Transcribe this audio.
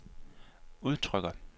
udtrykker